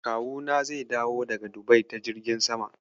Kawuna zai dawo daga Dubai ta jirgin sama.